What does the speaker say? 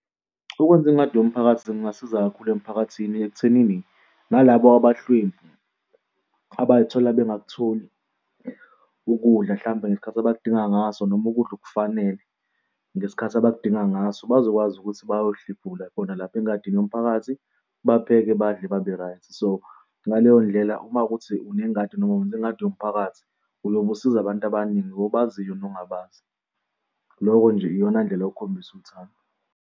Ukwenza ingadi yomphakathi kungasiza kakhulu emphakathini ekuthenini nalaba abahlwempu abay'thola bengakutholi ukudla hlampe ngesikhathi abakudingayo ngaso noma ukudla okufanele. Ngesikhathi abakudinga ngaso bazokwazi ukuthi bayohlephula bona lapho engadini yomphakathi bapheke badle, babe-right. So, ngaleyo ndlela uma kuwukuthi unengadi noma wenze ingadi yomphakathi uyobe usiza abantu abaningi obaziyo nongabazi. Loko nje iyona ndlela yokukhombisa uthando.